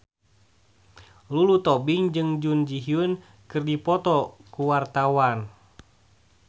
Lulu Tobing jeung Jun Ji Hyun keur dipoto ku wartawan